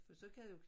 For så kan jeg jo